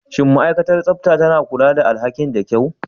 Shin ma'aikatar tsaftar tana kula da alhakinta da kyau?